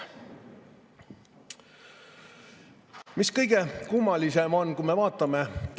Mis kõige kummalisem on?